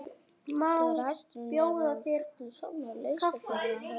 Þegar hesturinn er að fullu sofnaður leysa þeir af honum böndin.